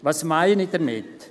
Was meine ich damit?